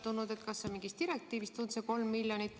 Kas see 3 miljonit on mingist direktiivist tulnud?